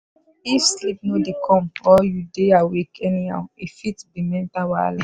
if sleep no dey come or you dey awake anyhow e fit be mental wahala.